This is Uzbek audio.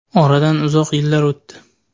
Oradan uzoq yillar o‘tdi.